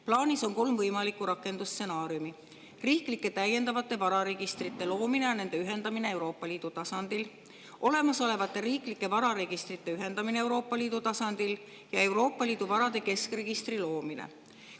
Plaanis on kolm võimalikku rakendusstsenaariumi: riiklike täiendavate vararegistrite loomine ja nende ühendamine Euroopa Liidu tasandil, olemasolevate riiklike vararegistrite ühendamine Euroopa Liidu tasandil ja Euroopa Liidu varade keskregistri loomine.